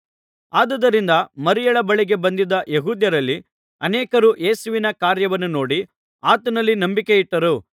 ಆದುದರಿಂದ ಮರಿಯಳ ಬಳಿಗೆ ಬಂದಿದ್ದ ಯೆಹೂದ್ಯರಲ್ಲಿ ಅನೇಕರು ಯೇಸುವಿನ ಕಾರ್ಯವನ್ನು ನೋಡಿ ಆತನಲ್ಲಿ ನಂಬಿಕೆಯಿಟ್ಟರು